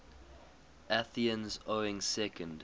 athenians owning second